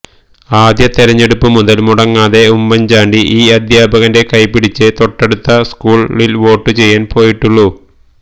ആദ്യ തിരഞ്ഞെടുപ്പുമുതൽ മുടങ്ങാതെ ഉമ്മൻചാണ്ടി ഈ അധ്യാപകന്റെ കൈപിടിച്ചേ തൊട്ടടുത്ത സ്കൂളിൽ വോട്ടുചെയ്യാൻ പോയിട്ടുള്ളൂ